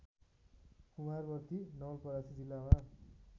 कुमारवर्ती नवलपरासी जिल्लामा